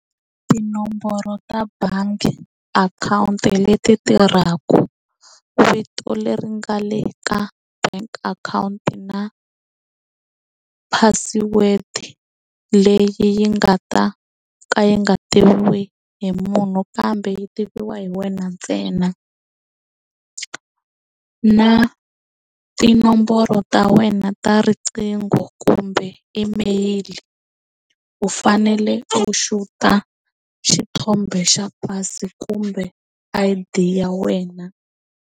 Tinomboro ta bangi akhawunti leti tirhaku vito leri nga le ka bank akhawunti na password leyi yi nga ta ka yi nga tiviwi hi munhu kambe yi tiviwa hi wena ntsena na tinomboro ta wena ta riqingho kumbe email u fanele u xuta xithombe xa pasi kumbe I_D ya wena.